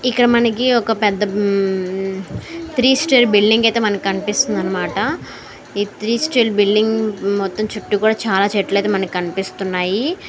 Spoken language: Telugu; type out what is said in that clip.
ఇక్కడ మనకి ఒక పెద్ద త్రీ స్టైల్ బిల్డింగ్ అయితే మనకి కనబడుతుంది అనిమాట ఈ త్రీ స్టైల్ బిల్డింగ్ మొత్తం చుట్టూ కూడా చాలా చెట్లయితే మనకి కనిపిస్తున్నాయి.